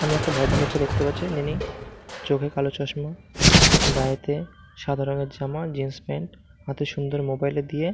আমি একটা ভদ্র লোককে দেখতে পাচ্ছি যিনি চোখে কালো চশমা গায়েতে সাদা রঙের জামা জিন্সপ্যান্ট হাতে সুন্দর মোবাইল দিয়ে--